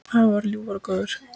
Afi var ljúfur og góður.